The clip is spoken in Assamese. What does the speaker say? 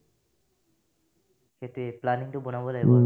সেটোয়ে planning টো বনাব লাগিব